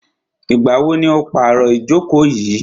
Ìgbà wo ni o pàro ìjókò yìí?